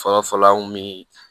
Fɔlɔ fɔlɔ an kun mi